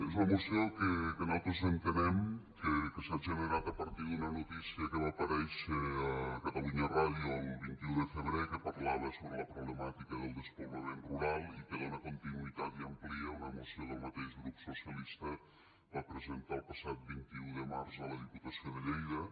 és una moció que nosaltres entenem que s’ha generat a partir d’una notícia que va aparèixer a catalunya ràdio el vint un de febrer que parlava sobre la problemàtica del despoblament rural i que dona continuïtat i amplia una moció que el mateix grup socialista va presentar el passat vint un de març a la diputació de lleida